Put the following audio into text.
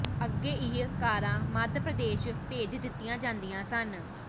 ਅੱਗੇ ਇਹ ਕਾਰਾਂ ਮੱਧ ਪ੍ਰਦੇਸ਼ ਭੇਜ ਦਿੱਤੀਆਂ ਜਾਂਦੀਆਂ ਸਨ